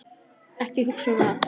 Ekki hugsa um mat!